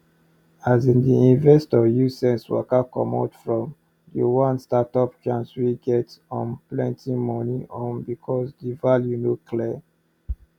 asin di investor use sense waka commot from d one startup chance wey get um plenty money um because di value no clear